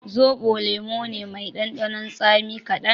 Zoɓo lemo ne mai ɗanɗanon tsami kaɗan